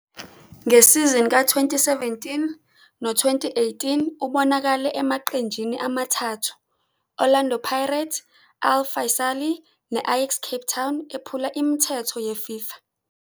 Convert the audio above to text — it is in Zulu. Ngesizini ka-2017-18 ubonakale emaqenjini amathathu - Orlando Pirates, Al Faisaly, ne-Ajax Cape Town, ephula imithetho yeFIFA.